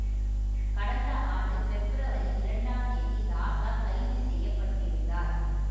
கடந்த ஆண்டு பெப்ரவரி இரண்டாம் தேதி ராசா கைது செய்யப்பட்டிருந்தார்